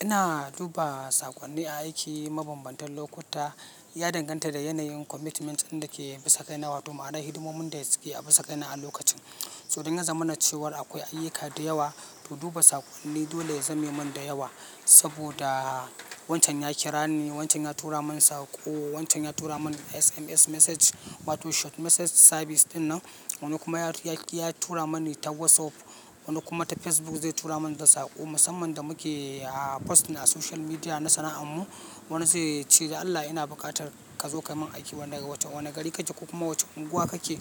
Ina duba saƙonni a aiki mabambantan lokuta, ya danganta da yanayin commitment ɗin da ke bisa kai na wato, ma'anar hidimomin da su ke a bisa kai na a lokacin. So idan ya zama na cewa akwai ayyuka da yawa to duba saƙonni dole ya zame min da yawa. Saboda wancan ya kira ni, wancan ya tura min saƙo, wancan ya tura min SMS message wato short message service ɗinnan. Wani kuma ya tura mani ta WhatsApp, wani kuma ta Facebook zai tura min saƙo. Musamman da muke, ah, posting a social media na sana'an mu. Wani zai ce dan Allah ina buƙatar ka zo ka min aiki wanda ga wacce wani gari kake ko kuma wacce unguwa kake.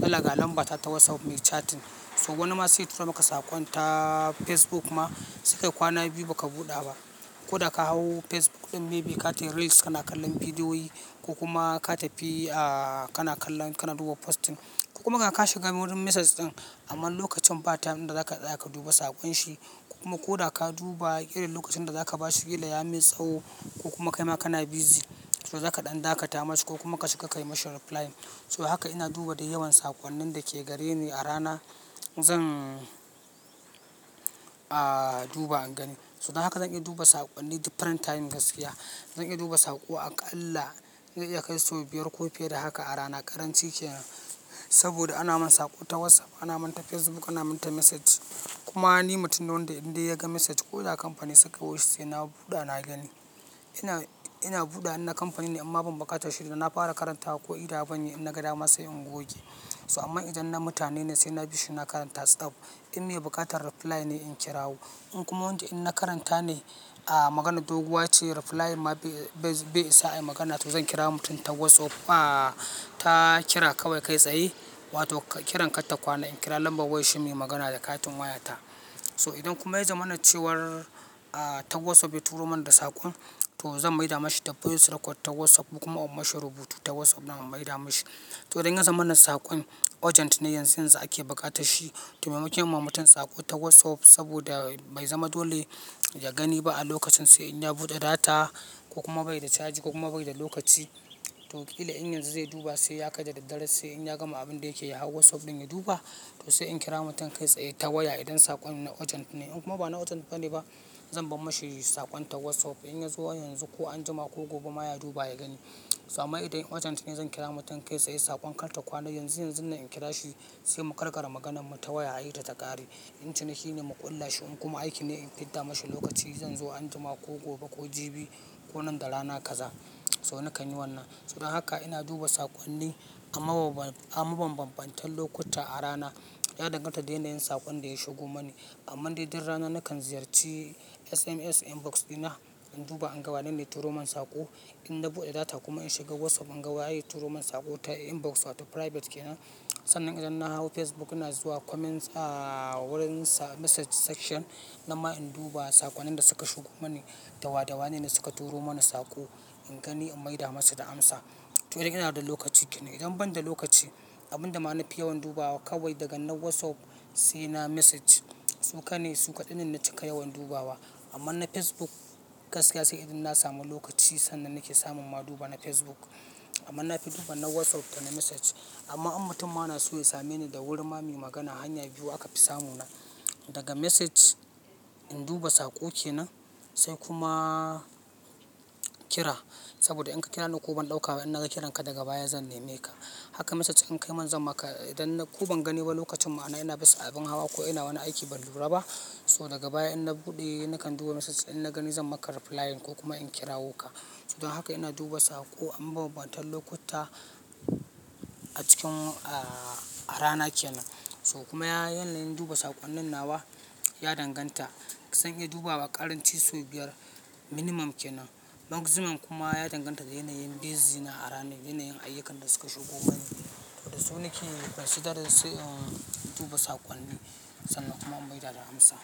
Dan Allah ga lamba ta ta WhatsApp me chatting. So wani ma sai ya tura maka saƙon ta Facebook ma sai kai kwana biyu ba ka buɗa ba. Aa ka hau Facebook ɗin maybe katayi reels kana kallon bidiyoyi ko kuma ka tafi, ah, kana kallon, kana duba posting. Kuma ga ka shiga wurin message ɗin amma lokacin ba time ɗin da za ka tsaya ka duba saƙon shi. Kuma ko da ka duba irin lokacin da za ka ba shi kila ya mai tsawo ko kuma kai ma kana busy. So za ka ɗan daƙa ta mashi ko kuma ka shiga ka yi mashi reply. So haka ina duba da yawan saƙonnin da ke gare ni a rana. Zan, ah, duba in gani. So don haka zan iya duba saƙonni different time gaskiya. Zan iya duba sako akalla zai iya kai sau biyar ko fiye da haka a rana karanci kenan saboda ana min sako ta whatsapp anamin ta facebook anamin ta message kuma ni mutum ne wanda in dai ya ga message koda kampani ne se ka yoahi sai na duba nagani ina, ina buɗawa in na kampani ne in amma ban buƙatar shi da na fara karanta wa ko idawa ban yi in na ga dama sai in goge. So amma idan na mutane ne sai na bi shi na karanta stop. In me buƙatar reply ne in kira wo. In kuma wanda idan na karanta ne, ah, maganar doguwa ce reply ma bai isa a yi magana to zan kira mutum ta WhatsApp, ah, ta kira kawai kai tsaye wato kiran katta kwana in kira lambar wayar shi muyi magana da katin waya ta. So idan kuma ya zama na cewar, ah, ta WhatsApp ya turo mani da saƙon to zan maida mashi da voice record ta WhatsApp ko kuma in mashi rubutu ta WhatsApp din na maida mashi. So idan ya zama na saƙon urgent ne yanzu yanzu ake buƙatar shi to maimakon in ma mutum saƙo ta WhatsApp saboda bai zama dole ya gani ba a lokacin sai in ya buɗe data ko kuma bai da caji ko kuma bai da lokaci. To ƙila in yanzu zai duba sai ya kai da daddare sai in ya gama abin da yake ya hau WhatsApp ɗin ya duba. To sai in kira mutum kai tsaye ta waya idan saƙon na urgent ne. In kuma ba na urgent bane ba zan ban mashi saƙon ta WhatsApp. In ya zo yanzu ko anjima ko gobe ma ya duba ya gani. So amma idan urgent ne zan kira mutum kai tsaye saƙon kar ta kwana yanzu yanzu nan in kira shi sai mu karkara maganarmu ta waya ayi ta ta ƙare. In ciniki ne mu ƙulla shi in kuma aiki ne in fidda mashi lokaci zan zo anjima ko gobe ko jibi ko nan da rana kaza. So nakan yi wannan. So don haka ina duba saƙonni a mabambantan lokuta a rana. Ya danganta da yanayin saƙon da ya shigo mani. Amman dai duk rana nakan ziyarci SMS inbox dina in duba in ga wanene ya turo min saƙo. In na buɗe data kuma in shiga WhatsApp in ga wa ye ya turo min saƙo ta inbox wato private kenan. Sannan idan na hau Facebook ina zuwa comments, ah, wurin message section nan ma in duba saƙonnin da suka shigo mani. Da wada da wanene suka turo mana saƙo in gani in maida masa da amsa. To idan ina da lokaci kenan. Idan ban da lokaci abun da ma na fi yawan dubawa kawai daga na WhatsApp sai na message. Suƙane, suƙaɗai ne na cika yawan dubawa. Amma na Facebook gaskiya sai idan na samu lokaci sannan nake samun ma duba na Facebook. Amma nafi duba na WhatsApp da na message. Amma in mutum ma na so ya same ni da wurin ma muyi magana hanya biyu aka fi samu na. Daga message in duba saƙo kenan sai kuma kira. Saboda in ka kira ni ko ban ɗauka ba in na ga kiran ka daga baya zan neme ka. Haka message in kai min zan maka idan ko ban gani ba lokacin ma'ana ina bisa abin hawa ko ina wani aiki ban lura ba. So daga baya idan in na buɗe nakan duba message in na gani zan maka replying ko kuma in kirawo ka. So don haka ina duba saƙo amabambantan lokuta a cikin, ah, a rana kenan. So kuma yanayin duba saƙonnin nawa ya danganta. Zan iya dubawa ƙaranci sau biyar minimum kenan. Maximum kuma ya danganta da yanayin busy na a rana ne, yanayin ayyukan da suka shigo ko gani. To da su nake considering in duba saƙonni sannan kuma in maida da amsa.